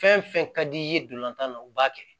Fɛn fɛn ka d'i ye dolantan na u b'a kɛ